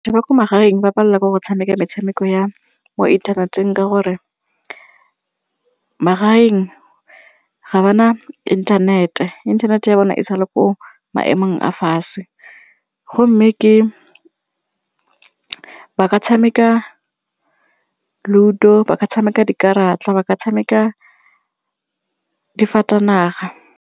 Batho ba ko magaeng ba palelwa ke go tshameka metshameko ya mo inthaneteng ka gore magareng ga ba na inthanete, inthanete ya bona e sale ko maemong a fatshe gomme ke ba ka tshameka LUDO ba ka tshameka dikarata ba ka tshameka difatanaga.